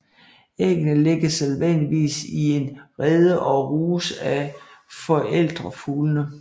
Æggene lægges sædvanligvis i en rede og ruges af forældrefuglene